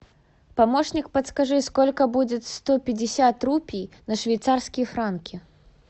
помощник подскажи сколько будет сто пятьдесят рупий на швейцарские франки